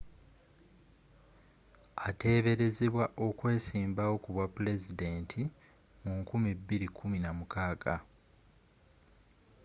ateeberezebwa okwesimbawo kubwa pulezidenti mu 2016